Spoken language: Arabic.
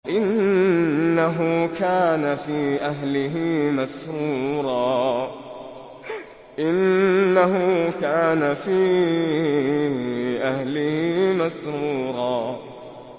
إِنَّهُ كَانَ فِي أَهْلِهِ مَسْرُورًا